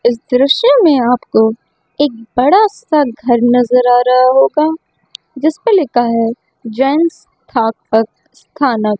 इस दृश्य में आपको एक बड़ा सा घर नजर आ रहा होगा जिसपे लिखा है जेंट्स थानव--